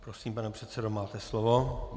Prosím, pane předsedo, máte slovo.